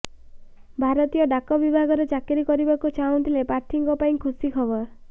ଭାରତୀୟ ଡାକ ବିଭାଗରେ ଚାକିରି କରିବାକୁ ଚାହୁଁଥିବା ପ୍ରାର୍ଥୀଙ୍କ ପାଇଁ ଖୁସି ଖବର